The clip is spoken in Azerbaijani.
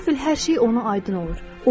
Qəfil hər şey ona aydın olur.